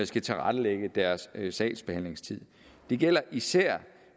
skal tilrettelægge deres sagsbehandlingstid det gælder især